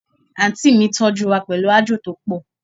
Aunty mi toju wa pelu aajo to po